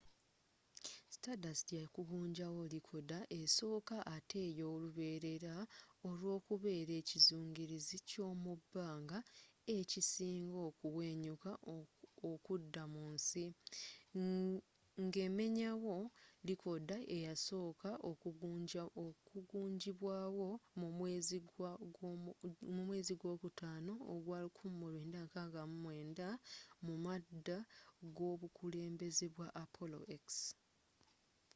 stardust yakugunjawo likoda esooka ate eyoluberera olwokubera ekyizungirizi kyomubbanga ekisinga okuwenyuka okudda mu nsi ngemenyawo likoda eyasooka okugunjibwawo mu mwezi gwokutano ogwa 1969 mumadda gobukulembeze bwa apollo x